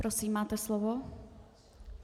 Prosím, máte slovo.